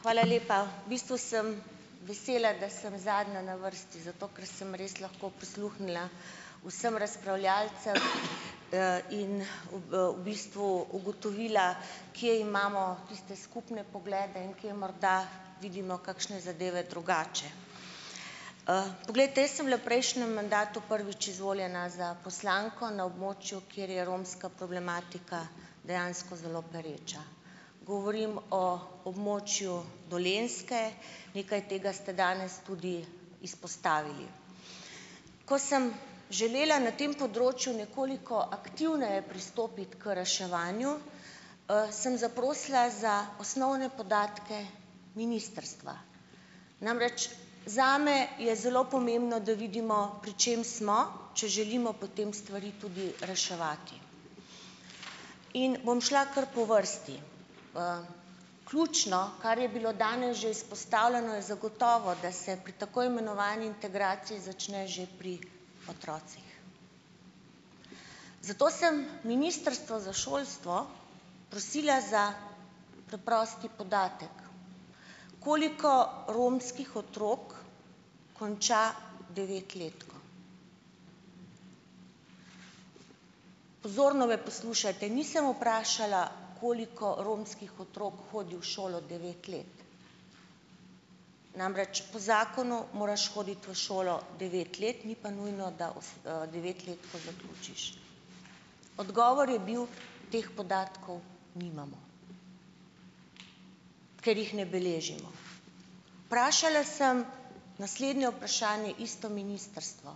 Hvala lepa. V bistvu sem vesela, da sem zadnja na vrsti, zato ker sem res lahko prisluhnila vsem razpravljavcem in v bistvu ugotovila, kje imamo tiste skupne poglede in kje morda vidimo kakšne zadeve drugače. Poglejte, jaz sem bila v prejšnjem mandatu prvič izvoljena za poslanko na območju, kjer je romska problematika dejansko zelo pereča. Govorim o območju Dolenjske, nekaj tega ste danes tudi izpostavili. Ko sem želela na tem področju nekoliko aktivneje pristopiti k reševanju, sem zaprosila za osnovne podatke ministrstva. Namreč, zame je zelo pomembno, da vidimo, pri čem smo, če želimo potem stvari tudi reševati. In bom šla kar po vrsti. Ključno, kar je bilo danes že izpostavljeno, je zagotovo, da se pri tako imenovani integraciji začne že pri otrocih. Zato sem ministrstvo za šolstvo prosila za preprosti podatek: Koliko romskih otrok konča devetletko? Pozorno me poslušajte, nisem vprašala, koliko romskih otrok hodi v šolo devet let. Namreč, po zakonu moraš hoditi v šolo devet let, ni pa nujno, da devetletko zaključiš. Odgovor je bil: "Teh podatkov nimamo, ker jih ne beležimo." Vprašala sem naslednje vprašanje, isto ministrstvo: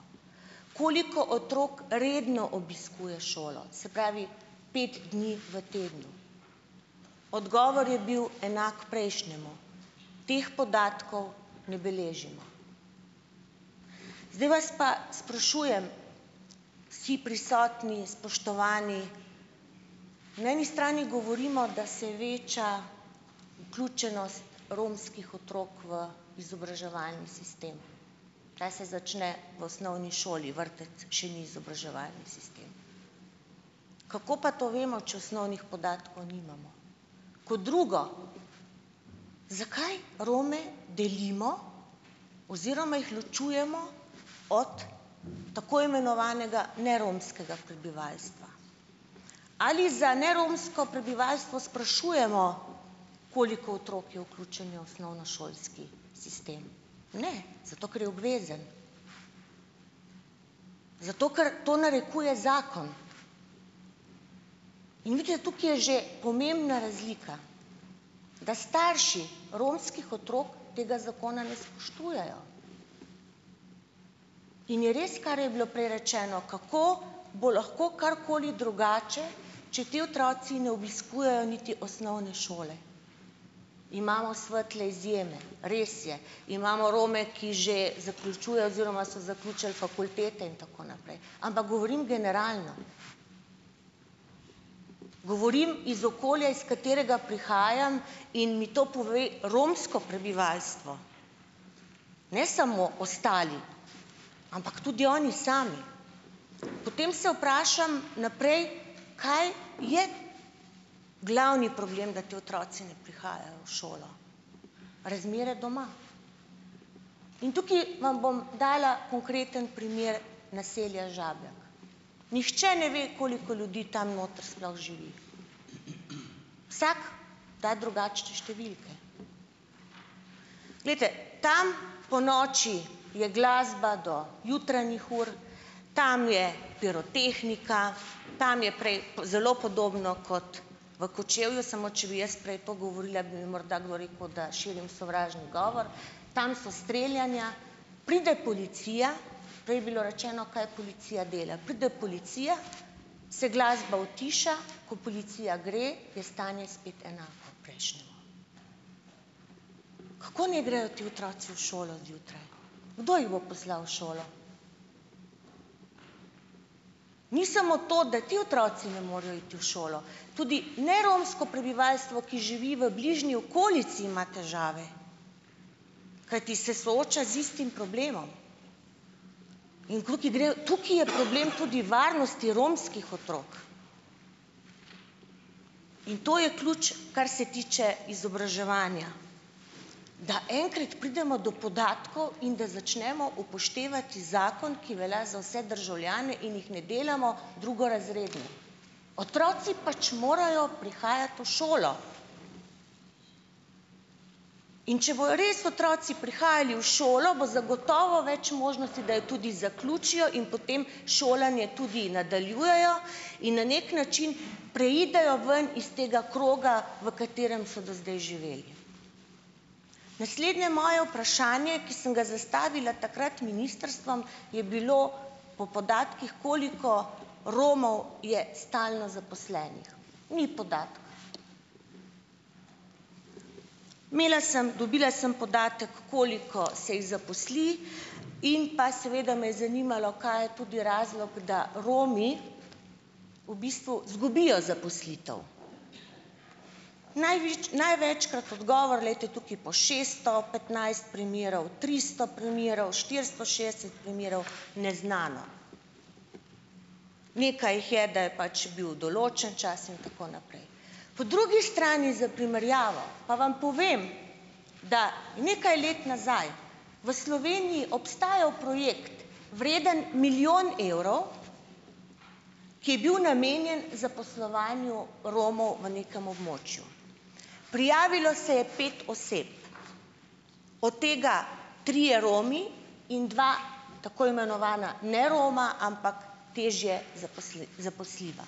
"Koliko otrok redno obiskuje šolo? Se pravi pet dni v tednu. Odgovor je bil enak prejšnjemu: "Teh podatkov ne beležimo." Zdaj vas pa sprašujem, vsi prisotni, spoštovani, na eni strani govorimo, da se veča vključenost romskih otrok v izobraževalni sistem. Ta se začne v osnovni šoli, vrtec še ni izobraževalni sistem. Kako pa to vemo, če osnovnih podatkov nimamo? Kot drugo: Zakaj Rome delimo oziroma jih ločujemo od tako imenovanega neromskega prebivalstva? Ali za neromsko prebivalstvo sprašujemo, koliko otrok je vključenih v osnovnošolski sistem? Ne. Zato ker je obvezen. Zato, ker to narekuje zakon. In nekje tukaj je že pomembna razlika, da starši romskih otrok tega zakona ne spoštujejo, in je res, kar je bilo prej rečeno, kako bo lahko karkoli drugače, če ti otroci ne obiskujejo niti osnovne šole. Imamo svetle izjeme, res je, imamo Rome, ki že zaključujejo oziroma so zaključili fakultete, in tako naprej, ampak govorim generalno. Govorim iz okolja, iz katerega prihajam, in mi to pove romsko prebivalstvo, ne samo ostali, ampak tudi oni sami. Potem se vprašam naprej, kaj je glavni problem, da ti otroci ne prihajajo v šolo. Razmere doma. In tukaj vam bom dala konkreten primer naselja Žabjak. Nihče ne ve, koliko ljudi tam notri sploh živi. Vsak da drugačne številke. Glejte, tam ponoči je glasba do jutranjih ur, tam je pirotehnika, tam je prej, zelo podobno kot v Kočevju, samo če bi jaz prej to govorila, bi mi morda kdo rekel, da širim sovražni govor, tam so streljanja. Pride policija, prej je bilo rečeno, kaj policija dela. Pride policija, se glasba utiša, ko policija gre, je stanje spet enako prejšnjemu. Kako naj grejo ti otroci v šolo zjutraj? Kdo jih bo poslal v šolo? Ni samo to, da ti otroci ne morejo iti v šolo, tudi neromsko prebivalstvo, ki živi v bližnji okolici, ima težave, kajti se sooča z istim problemom. In tukaj gre, tukaj je problem tudi varnosti romskih otrok. In to je ključ, kar se tiče izobraževanja, da enkrat pridemo do podatkov in da začnemo upoštevati zakon, ki velja za vse državljane, in jih ne delamo drugorazredne. Otroci pač morajo prihajati v šolo. In če bojo res otroci prihajali v šolo, bo zagotovo več možnosti, da jo tudi zaključijo in potem šolanje tudi nadaljujejo in na neki način preidejo ven is tega kroga, v katerem so do zdaj živeli. Naslednje moje vprašanje, ki sem ga zastavila takrat ministrstvom, je bilo po podatkih, koliko Romov je stalno zaposlenih. Ni podatka. Imela sem, dobila sem podatek, koliko se jih zaposli, in pa seveda me je zanimalo, kaj je tudi razlog, da Romi v bistvu zgubijo zaposlitev. največkrat odgovor, glejte, tukaj pol šeststo petnajst primerov, tristo primerov, štiristo šest primerov, neznano. Nekaj jih je, da je pač bil določen čas, in tako naprej. Po drugi strani za primerjavo pa vam povem, da nekaj let nazaj v Sloveniji obstajal projekt vreden milijon evrov, ki je bil namenjen zaposlovanju Romov v nekem območju. Prijavilo se je pet oseb, od tega trije Romi in dva tako imenovana Neroma, ampak težje zaposljiva.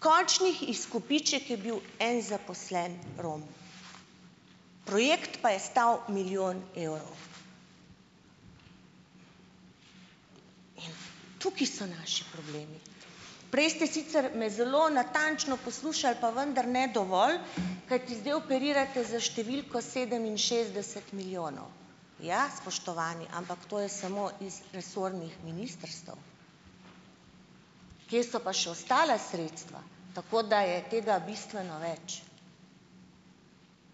Končnih izkupiček je bil en zaposleni Rom. Projekt pa je stal milijon evrov. Tukaj so naši problemi. Prej ste sicer me zelo natančno poslušali, pa vendar ne dovolj, kajti zdaj operirate s številko sedeminšestdeset milijonov. Ja, spoštovani, ampak to je samo iz resornih ministrstev. Kje so pa še ostala sredstva? Tako da je tega bistveno več.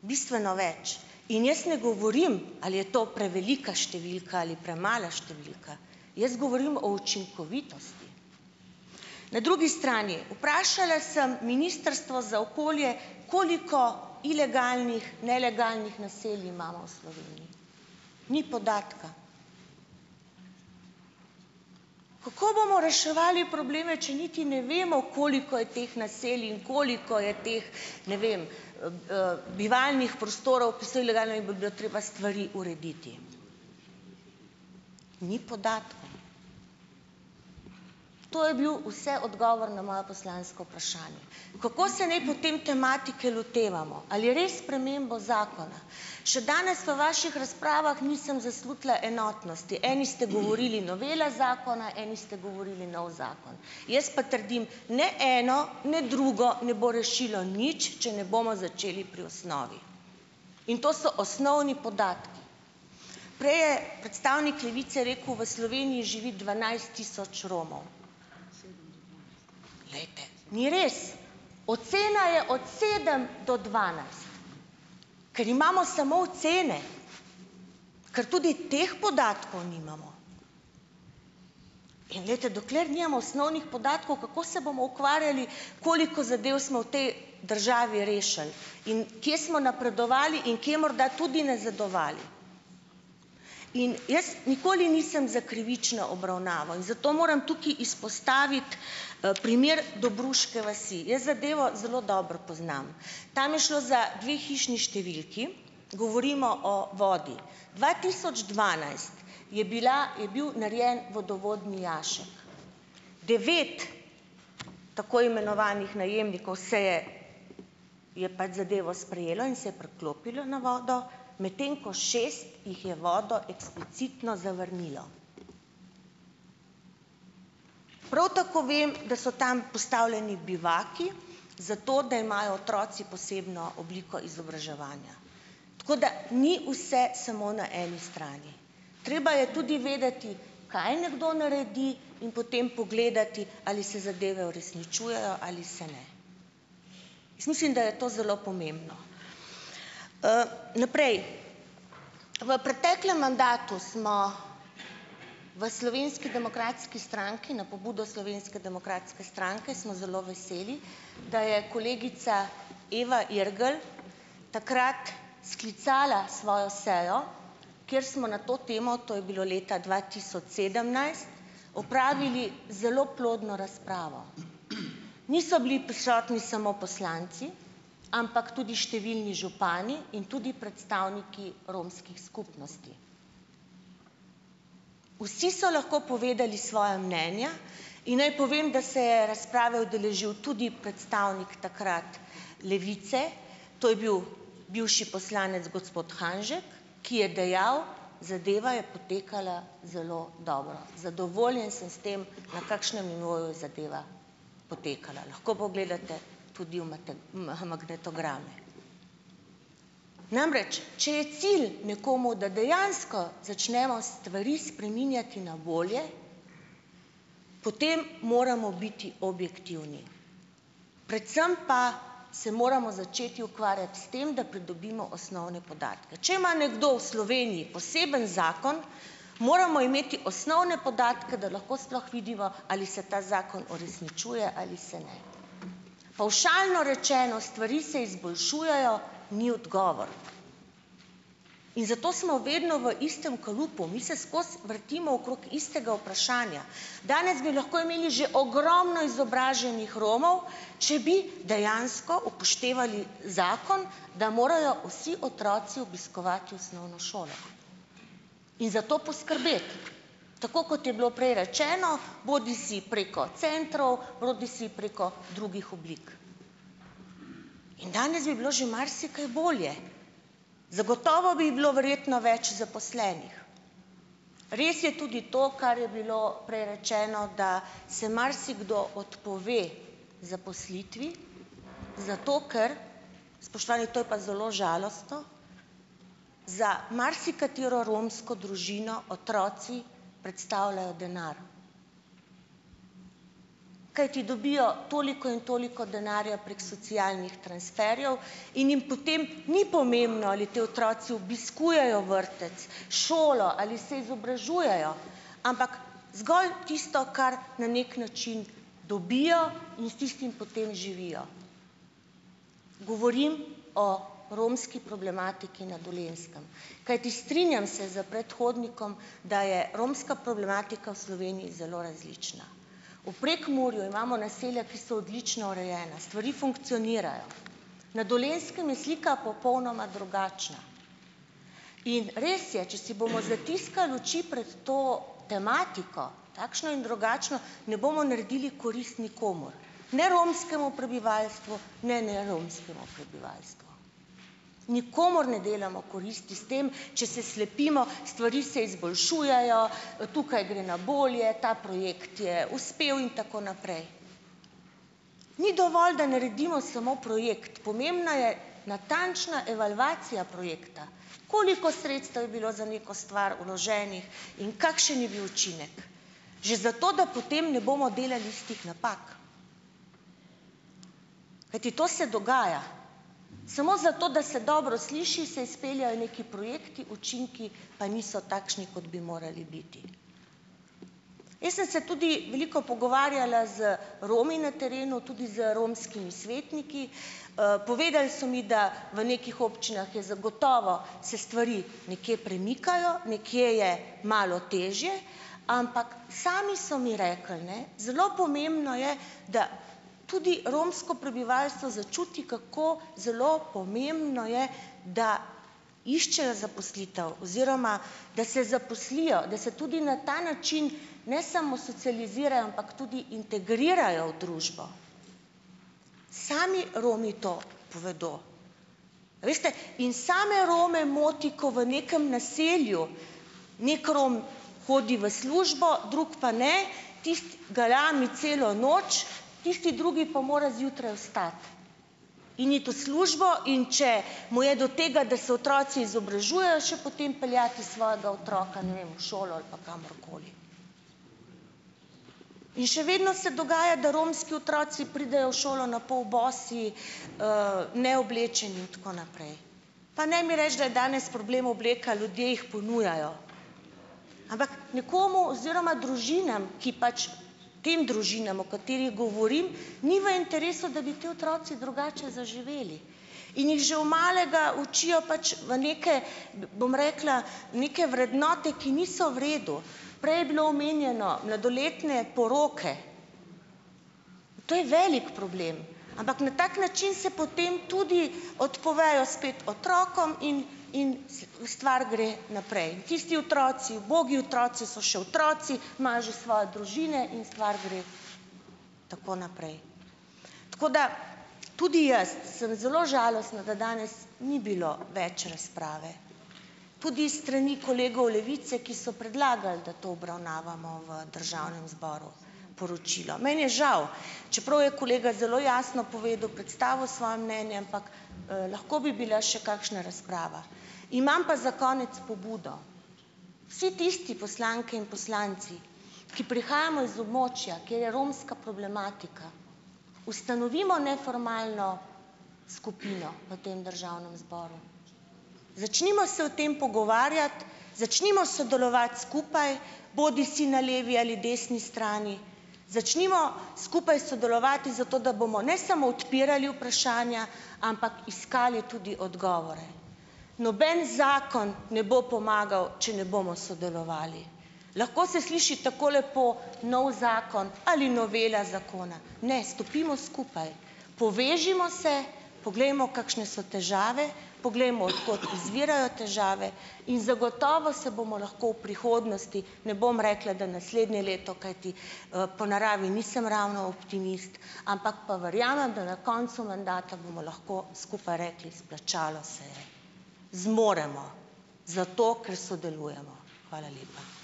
Bistveno več. In jaz ne govorim, ali je to prevelika številka ali premala številka, jaz govorim o učinkovitosti. Na drugi strani, vprašala sem Ministrstvo za okolje, koliko ilegalnih, nelegalnih naselij imamo v Sloveniji. Ni podatka. Kako bomo reševali probleme, če niti ne vemo, koliko je teh naselij in koliko je teh, ne vem, bivalnih prostorov, ki so ilegalni, in bi bilo treba stvari urediti. Ni podatkov. To je bil ves odgovor na moje poslansko vprašanje. Kako se naj potem tematike lotevamo? Ali res s spremembo zakona? Še danes v vaših razpravah nisem zaslutila enotnosti. Eni ste govorili novela zakona, eni ste govorili novi zakon. Jaz pa trdim, ne eno ne drugo ne bo rešilo nič, če ne bomo začeli pri osnovi. In to so osnovni podatki. Prej je predstavnik Levice rekel, v Sloveniji živi dvanajst tisoč Romov. Glejte, ni res. Ocena je od sedem do dvanajst. Ker imamo samo ocene, ker tudi teh podatkov nimamo. In glejte, dokler nimamo osnovnih podatkov, kako se bomo ukvarjali, koliko zadev smo v tej državi rešili in kje smo napredovali in kje morda tudi nazadovali. In jaz nikoli nisem za krivično obravnavo in zato moram tukaj izpostaviti primer Dobruške vasi. Jaz zadevo zelo dobro poznam. Tam je šlo za dve hišni številki, govorimo o vodi. Dva tisoč dvanajst je bila, je bil narejen vodovodni jašek. Devet tako imenovanih najemnikov se je je pač zadevo sprejelo in se je priklopilo na vodo, medtem ko šest jih je vodo eksplicitno zavrnilo. Prav tako vem, da so tam postavljeni bivaki, zato da imajo otroci posebno obliko izobraževanja. Tako da ni vse samo na eni strani. Treba je tudi vedeti, kaj nekdo naredi, in potem pogledati, ali se zadeve uresničujejo ali se ne. Jaz mislim, da je to zelo pomembno. Naprej, v preteklem mandatu smo v Slovenski demokratski stranki, na pobudo Slovenske demokratske stranke, smo zelo veseli, da je kolegica Eva Irgl takrat sklicala svojo sejo, kjer smo na to temo, to je bilo leta dva tisoč sedemnajst, opravili zelo plodno razpravo. Niso bili prisotni samo poslanci, ampak tudi številni župani in tudi predstavniki romskih skupnosti. Vsi so lahko povedali svoja mnenja. In naj povem, da se je razprave udeležil tudi predstavnik takrat Levice, to je bil bivši poslanec gospod Hanžek, ki je dejal: "Zadeva je potekala zelo dobro, zadovoljen sem s tem, na kakšnem nivoju je zadeva potekala." Lahko pogledate tudi v magnetograme. Namreč, če je cilj nekomu, da dejansko začnemo stvari spreminjati na bolje, potem moramo biti objektivni, predvsem pa se moramo začeti ukvarjati s tem, da pridobimo osnovne podatke. Če ima nekdo v Sloveniji poseben zakon, moramo imeti osnovne podatke, da lahko sploh vidimo, ali se ta zakon uresničuje ali se ne. Pavšalno rečeno, stvari se izboljšujejo, ni odgovor. In zato smo vedno v istem kalupu. Mi se skozi vrtimo okrog istega vprašanja. Danes bi lahko imeli že ogromno izobraženih Romov, če bi dejansko upoštevali zakon, da morajo vsi otroci obiskovati osnovno šolo, in za to poskrbeti, tako kot je bilo prej rečeno, bodisi preko centrov bodisi preko drugih oblik. In danes bi bilo že marsikaj bolje. Zagotovo bi bilo verjetno več zaposlenih. Res je tudi to, kar je bilo prej rečeno, da se marsikdo odpove zaposlitvi, zato ker - spoštovani, to je pa zelo žalostno - za marsikatero romsko družino otroci predstavljajo denar, kajti dobijo toliko in toliko denarja prek socialnih transferjev in jim potem ni pomembno, ali ti otroci obiskujejo vrtec, šolo, ali se izobražujejo, ampak zgolj tisto, kar na nek način dobijo, in s tistim potem živijo. Govorim o romski problematiki na Dolenjskem, kajti strinjam se s predhodnikom, da je romska problematika v Sloveniji zelo različna. V Prekmurju imamo naselja, ki so odlično urejena, stvari funkcionirajo. Na Dolenjskem je slika popolnoma drugačna. In res je, če si bomo zatiskali oči pred to tematiko, takšno in drugačno, ne bomo naredili korist nikomur, ne romskemu prebivalstvu ne neromskemu prebivalstvu. Nikomur ne delamo koristi s tem, če se slepimo, stvari se izboljšujejo, tukaj gre na bolje, ta projekt je uspel in tako naprej. Ni dovolj, da naredimo samo projekt. Pomembna je natančna evalvacija projekta, koliko sredstev je bilo za neko stvar vloženih in kakšen je bil učinek. Že zato, da potem ne bomo delali istih napak. Kajti, to se dogaja. Samo zato, da se dobro sliši, se izpeljejo neki projekti, učinki pa niso takšni, kot bi morali biti. Jaz sem se tudi veliko pogovarjala z Romi na terenu, tudi z romskimi svetniki. Povedali so mi, da v nekih občinah je zagotovo, se stvari nekje premikajo, nekje je malo težje. Ampak sami so mi rekli, ne, zelo pomembno je, da tudi romsko prebivalstvo začuti, kako zelo pomembno je, da iščejo zaposlitev oziroma da se zaposlijo, da se tudi na ta način ne samo socializirajo, ampak tudi integrirajo v družbo. Sami Romi to povedo. Veste, in same Rome moti, ko v nekem naselju neki Rom hodi v službo, drugi pa ne. Tisti galami celo noč, tisti drugi pa mora zjutraj vstati in iti v službo. In če mu je do tega, da se otroci izobražujejo, še potem peljati svojega otroka, ne vem, v šolo ali pa kamorkoli. In še vedno se dogaja, da romski otroci pridejo v šolo na pol bosi, neoblečeni in tako naprej. Pa ne mi reči, da je danes problem obleka. Ljudje jih ponujajo. Ampak nekomu oziroma družinam, ki pač tem družinam, o katerih govorim, ni v interesu, da bi ti otroci drugače zaživeli. In jih že v malega učijo pač v neke, bom rekla, neke vrednote, ki niso v redu. Prej je bilo omenjeno, mladoletne poroke. To je velik problem. Ampak na tak način se potem tudi odpovejo spet otrokom in in stvar gre naprej. In tisti otroci, ubogi otroci, so še otroci, imajo že svoje družine in stvar gre tako naprej. Tako da, tudi jaz sem zelo žalostna, da danes ni bilo več razprave. Tudi s strani kolegov Levice, ki so predlagal, da to obravnavamo v Državnem zboru, poročilo. Meni je žal. Čeprav je kolega zelo jasno povedal, predstavil svoje mnenje, ampak lahko bi bila še kakšna razprava. Imam pa za konec pobudo. Vsi tisti poslanke in poslanci, ki prihajamo iz območja, kjer je romska problematika, ustanovimo neformalno skupino v tem državnem zboru. Začnimo se o tem pogovarjati, začnimo sodelovati skupaj, bodisi na levi ali desni strani, začnimo skupaj sodelovati zato, da bomo ne samo odpirali vprašanja, ampak iskali tudi odgovore. Noben zakon ne bo pomagal, če ne bomo sodelovali. Lahko se sliši tako lepo, novi zakon ali novela zakona. Ne, stopimo skupaj, povežimo se, poglejmo, kakšne so težave, poglejmo, od kot izvirajo težave, in zagotovo se bomo lahko v prihodnosti, ne bom rekla, da naslednje leto, kajti po naravi nisem ravno optimist, ampak pa verjamem, da na koncu mandata bomo lahko skupaj rekli: "Splačalo se je, zmoremo zato, ker sodelujemo." Hvala lepa.